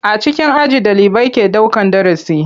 A cikin aji ɗalibai ke daukan darasi.